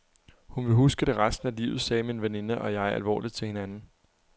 Hun vil huske det resten af livet, sagde min veninde og jeg alvorligt til hinanden.